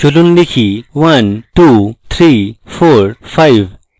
চলুন লিখি 1 2 3 4 5